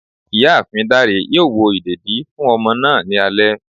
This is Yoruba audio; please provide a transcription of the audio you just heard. Ìyáàfín dáré yóò wò ìdédi fún ọmọ náá ní alé